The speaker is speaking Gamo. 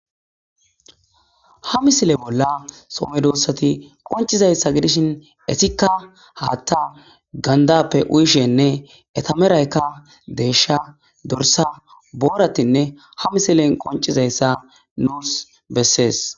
ha misile bolla some doossati qoncizayssa gidishin esikka haatta gandappe uyishenne etameraykka deesha dorsa booratinne ha misilen qoncizayssa nuus bessees